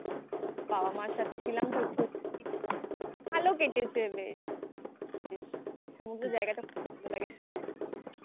বাবা মার সাথে ছিলাম তো খুব. ভালো কেটেছে বেশ। সমুদ্রের জায়গাটা খুব ভালো লাগে. তোর?